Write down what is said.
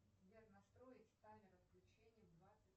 сбер настроить таймер отключения в двадцать